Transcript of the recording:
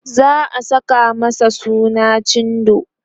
za'a Saka masa suna cindo